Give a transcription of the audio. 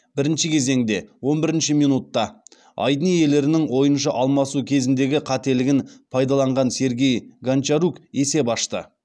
бірінші кезеңде он бірінші минутта айдын иелерінің ойыншы алмасу кезіндегі қателігін пайдаланған сергей гончарук есеп ашты